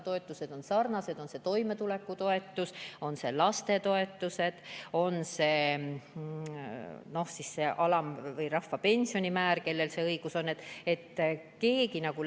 Toetused on sarnased, on see toimetulekutoetus, on need lastetoetused, on see rahvapension, kui see õigus on.